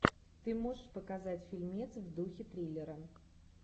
ты можешь показать фильмец в духе триллера